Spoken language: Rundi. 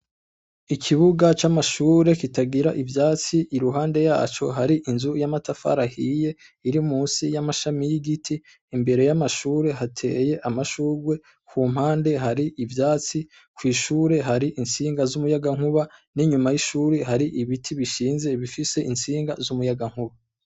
Ikibuga c'amashure kitagira ivyatsi, iruhande yaco hari inzu y'amatafari ahiye iri musi y'amashami y'igiti, imbere y'amashure hateye amashurwe, ku mpande hari ivyatsi, kw'ishure hari intsinga z'umuyagankuba, n'inyuma y'ishure hari ibiti bishinze bifise intsinga z'umuyagankuba.